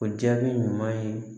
O jaabi ɲuman ye